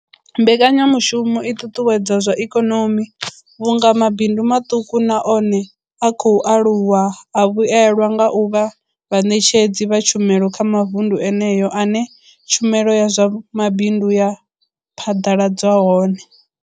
Mbekanyamushumo i ṱuṱuwedza zwa ikonomi vhunga mabindu maṱuku na one a khou aluwa a vhuelwa nga u vha vhaṋetshedzi vha tshumelo kha mavundu eneyo ane tshumelo ya zwa mabindu ya phaḓaladzwa hone.